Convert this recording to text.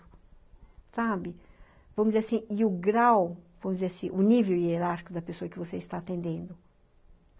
Sabe? Vamos dizer assim, e o grau, vamos dizer assim, o nível hierárquico da pessoa que você está atendendo.